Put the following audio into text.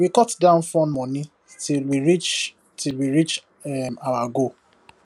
we cut down fun money till we reach till we reach um our goal